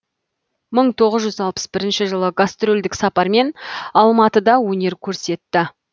мың тоғыз жүз алпыс бірінші жылы гастрольдік сапармен алматыда өнер көрсетті